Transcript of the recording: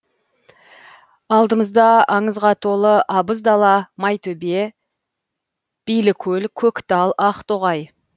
алдымызда аңызға толы абыз дала майтөбе билікөл көктал ақтоғай